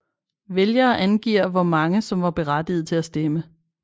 Vælgere angiver hvor mange som var berettigede til at stemme